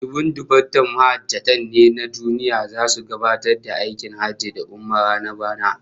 Dubun dubatar mahajjata ne na duniya zasu gabatar da aikin hajji da umara na bana